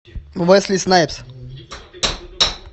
уэсли снайпс